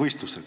võistlusi?